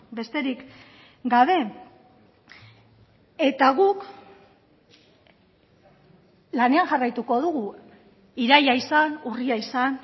besterik gabe eta guk lanean jarraituko dugu iraila izan urria izan